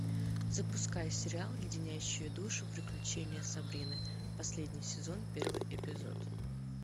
запускай сериал леденящие душу приключения сабрины последний сезон первый эпизод